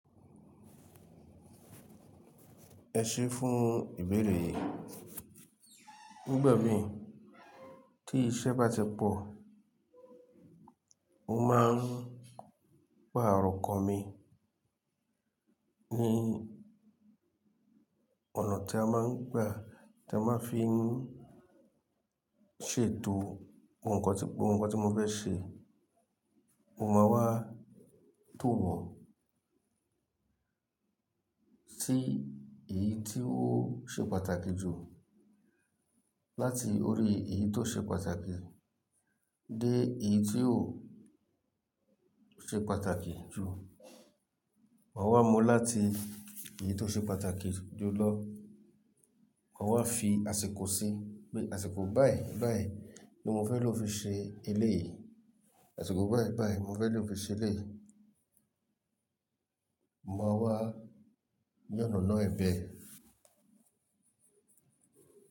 Ẹ ṣé fún ìbéèrè yìí. Nígbà mí tí iṣẹ́ bá ti pọ̀, mo máa ń gba àrọkàn mi ní ọ̀nà tí a máa ń gba, tí a máa ń fi ń ṣètò àwọn nǹkan tí gbogbo nǹkan tí mo fẹ́ ṣe. Mo máa wá tò. Wọ́n tí èyí tí ó ṣe pàtàkì jù láti orí èyí tó ṣe pàtàkì dé èyí tí ò ṣe pàtàkì jù. Máa wá mú láti èyí tó ṣe pàtàkì jù lọ, máa wá fi àsìkò sí, pé àsìkò báyìí báyìí ni mo fẹ́ lò fi ṣe eléyì, àsìkò báyìí báyìí mo fẹ́ lò fi ṣe eléyì. Mo máa wá yàn ọ̀nà ẹ̀bi ẹ.